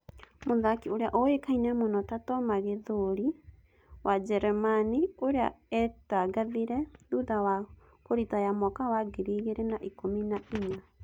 Mũthaki ũrĩa ũĩkaine mũno ta Toma Gĩthũri, wa Jeremani ũrĩa etangathire thutha wa kũritaya mwaka wa ngiri igĩrĩ na ikũmi nainya.